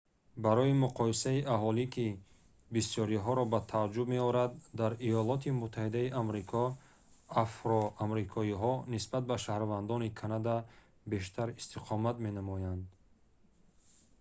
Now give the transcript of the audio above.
барои муқоисаи аҳолӣ ки бисёриҳоро ба тааҷҷуб меорад дар има афроамрикоиҳо нисбат ба шаҳрвандони канада бештар истиқомат менамоянд